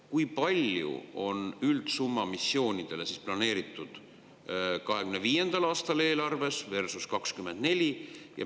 Kui palju on üldsummaks missioonidele planeeritud 2025. aasta eelarves versus 2024?